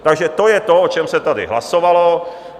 Takže to je to, o čem se tady hlasovalo.